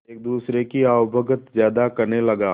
एक दूसरे की आवभगत ज्यादा करने लगा